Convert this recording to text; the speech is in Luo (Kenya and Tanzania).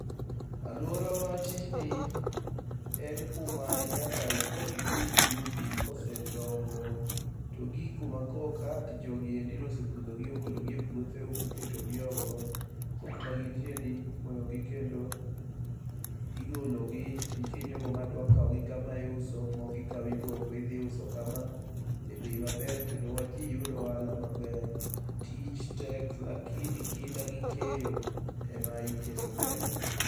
Alwora wa tijni en kuma nyaka ikuong ipidh njugu, kosedongo to gik kuma koro ka jogiendi nosepudho gi ogolo gi e puothe moketo gi oko. To kuma gintie ni imoyo gi kendo, igolo gi, nitie jogo ma dwa kao gi kama iuso, moko ikao iboko idhi uso kama, e bei maber kendo ji yudo ohala maber. Tich tek lakini kinda gi keyo, e ma iketo mbele.